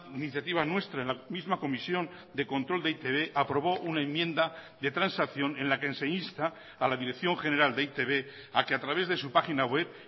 iniciativa nuestra en la misma comisión de control de e i te be aprobó una enmienda de transacción en la que se insta a la dirección general de e i te be a que a través de su pagina web